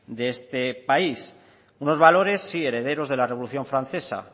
de este país unos valores sí herederos de la revolución francesa